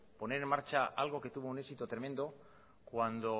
poner en marcha algo que tuvo un éxito tremendo cuando